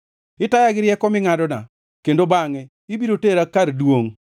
Itaya gi rieko mingʼadona kendo bangʼe ibiro tera kar duongʼ.